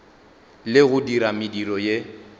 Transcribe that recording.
le go dira mediro ye